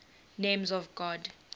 names of god